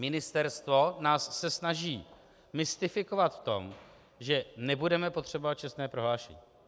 Ministerstvo se nás snaží mystifikovat v tom, že nebudeme potřebovat čestné prohlášení.